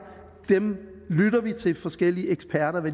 lytter vi til forskellige eksperter